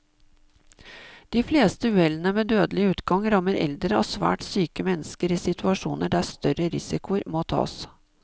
De fleste uhellene med dødelig utgang rammer eldre og svært syke mennesker i situasjoner der større risikoer må tas.